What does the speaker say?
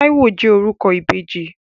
Táíwò jẹ́ orúkọ ìbejì.